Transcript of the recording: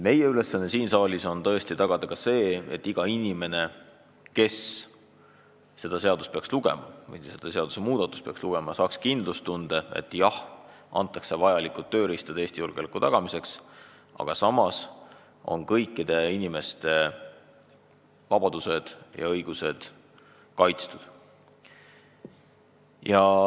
Meie ülesanne siin saalis on tõesti tagada ka see, et iga inimene saaks tänu sellele seadusele kindlustunde, et jah, antakse vajalikud tööriistad Eesti julgeoleku tagamiseks, aga samas on kõikide inimeste vabadused ja õigused kaitstud.